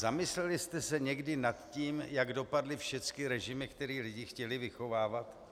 Zamysleli jste se někdy nad tím, jak dopadly všechny režimy, které lidi chtěli vychovávat.